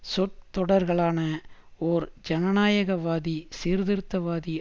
சொற்தொடர்களான ஓர் ஜனநாயகவாதி சீர்திருத்தவாதி